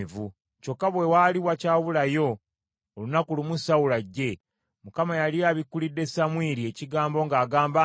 Kyokka bwe waali wakyabulayo olunaku lumu Sawulo ajje, Mukama yali abikkulidde Samwiri ekigambo ng’agamba nti,